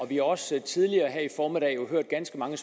vi har også tidligere i formiddag hørt ganske mange